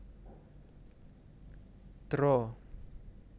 Dra